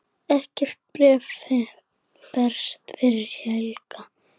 Ekkert bréf berst fyrir helgi.